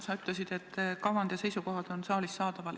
Sa ütlesid, et kavand ja seisukohad on saalis saadaval.